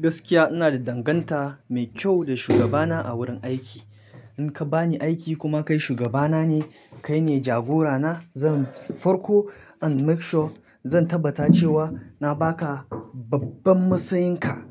Gaskiya ina da danganta mai kyau da shugabana a wurin aiki. In ka ba ni aiki kuma kai shugabana ne, kai ne jagorana zan farko and make sure zan tabbata cewa na ba ka babban matsayin ka.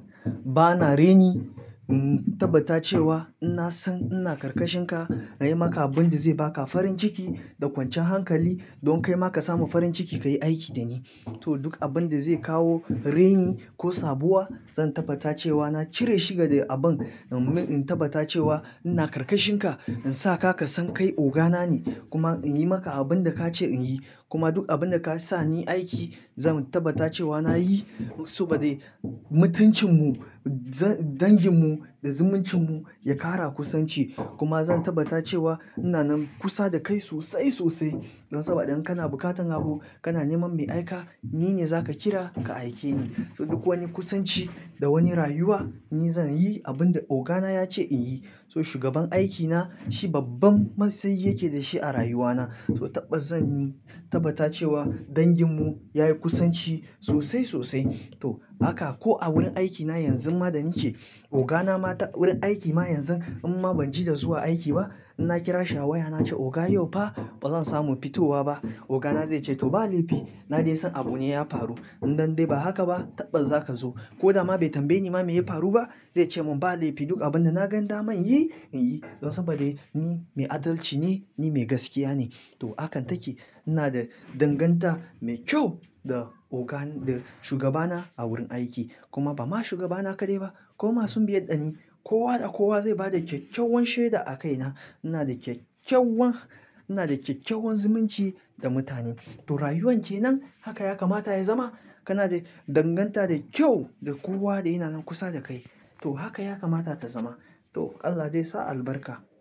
Ba na reni, in tabbata cewa ina san ina karkashin ka, in yi maka abin da zai ba ka farin ciki da kwancan hankali don kai ma ka samu farin ciki ka yi aiki da ni. To duk abin da zai kawo reni ko sabuwa zan tabbata cewa na cire shi daga abin. In tabbata cewa ina karkashin ka, in sa ka ka san kai ogana ne kuma in yi maka abin da ka ce in yi. Kuma duk abin da ka sa ni aiki zan tabbata cewa na yi saboda mutuncin mu, za-dangin mu da zumuncin mu ya ƙara kusanci. Kuma zan tabbata cewa ina nan kusa da kai sosai sosai don saboda in kana buƙatan abu kana neman me aika ni ne za ka kira ka aike ni. So duk wani kusanci da wani rayuwa ni zan yi abin da ogana ya ce in yi. So shugaban aikina shi babban matsayi yake da shi a rayuwana. So taɓa zan tabbata cewa dangin mu ya yi kusanci sosai sosai. To haka ko a wurin aikina yanzu ma da nike ogana ma ta wurin aiki ma yanzu amma ban ji da zuwa aiki ba, in na kira shi a waya na ce oga yau fa ba zan samu fitowa ba, ogana zai ce to ba laifi na dai san abu ne ya faru. In dan dai ba haka ba taɓa za ka zo. Ko da ma bai tambaye ni ma me ya faru ba zai ce mun ba laifi duk abin da na gan daman yi in yi. Don saboda ni mai adalci ne, ni mai gaskiya ne. To hakan take ina da danganta mai kyau da oga, da shugabana a wurin aiki. Kuma ba ma shugabana kaɗai ba, koma sun biya ɗani kowa da kowa zai ba da kyakkyawan shaida a kaina. Ina da kyakyawan, ina da kyakyawan zumunci da mutane. To rayuwan ke nan haka ya kamata ya zama. Kana da danganta da kyau da kowa da yana nan kusa da kai. To haka ya kamata ta zama. To Allah dai sa albarka.